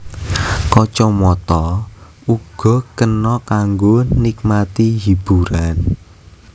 Kacamata uga kena kanggo nikmati hiburan